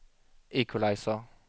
equalizer